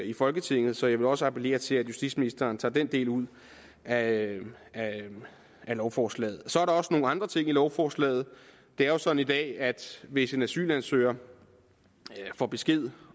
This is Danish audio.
i folketinget så jeg vil også appellere til at justitsministeren tager den del ud af lovforslaget så er der også nogle andre ting i lovforslaget det er jo sådan i dag at hvis en asylansøger får besked